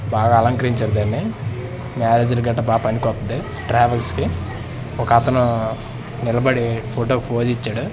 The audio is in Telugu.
బాగా అలంకరించారు దాన్ని మేనేజర్ గట్టా బా పనికొత్తది ట్రావెల్స్ కి ఒకతను నిలబడి ఫొటో కి ఫోజ్ ఇచ్చాడు.